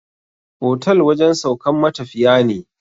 Otal wajen saukan matafiya ne